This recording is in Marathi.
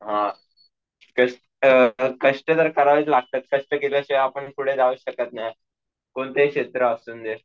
अं तेच तर कष्ट अं कष्ट तर करावेच लागतात, कष्ट केल्याशिवाय आपण पुढे जाऊच शकत नाही, कोणतेही क्षेत्र असून दे.